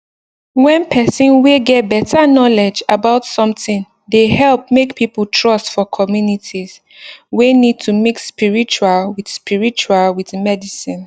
when person whey get better knowledge about something dey help make people trust for communities whey need to mix spiritual with spiritual with medicine